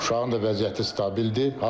Uşağın da vəziyyəti stabildir.